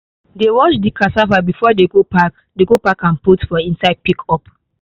they wash the cassava before they go pack they go pack am put for inside pickup